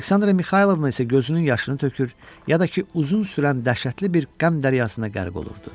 Aleksandra Mixaylovna isə gözünün yaşını tökür, ya da ki, uzun sürən dəhşətli bir qəm dəryasına qərq olurdu.